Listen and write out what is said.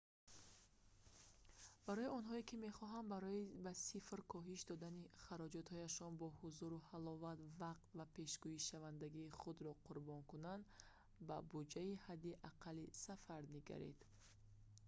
барои онҳое ки мехоҳанд барои ба сифр коҳиш додани хароҷотҳояшон бо ҳузуру ҳаловат вақт ва пешгӯишавандагии худро қурбон кунанд ба буҷаи ҳадди аққали сафар нигаранд